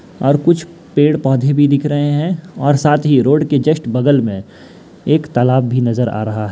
और कुछ पेड़-पोधे भी दिख रहे हैं और साथ ही रोड के जस्ट बगल में एक तालाब भी नजर आ रहा है।